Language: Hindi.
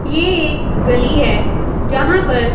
ये एक गली है जहां पर--